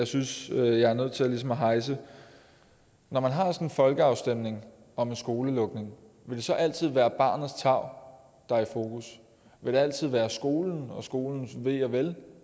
synes jeg er nødt til at rejse når man har sådan en folkeafstemning om en skolelukning vil det så altid være barnets tarv der er i fokus vil det altid være skolen og skolens ve og vel